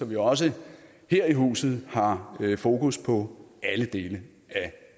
vi også her i huset har fokus på alle dele af